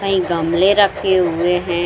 कईं गमले रखे हुए हैं।